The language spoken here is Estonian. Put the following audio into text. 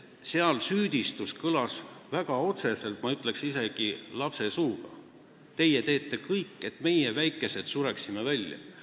Tema süüdistus oli väga otsene, ütleksin isegi, et kõlas nagu lapse suust: "Teie teete kõik, et meie, väikesed, sureksime välja!